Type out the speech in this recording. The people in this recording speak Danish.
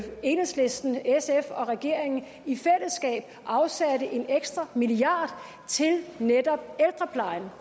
enhedslisten sf og regeringen afsatte en ekstra milliard til netop ældreplejen